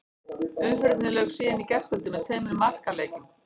Umferðinni lauk síðan í gærkvöldi með tveimur markaleikjum.